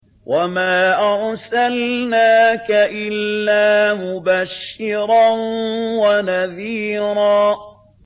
وَمَا أَرْسَلْنَاكَ إِلَّا مُبَشِّرًا وَنَذِيرًا